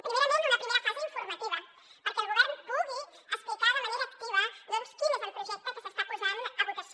primerament una primera fase informativa perquè el govern pugui explicar de manera activa quin és el projecte que s’està posant a votació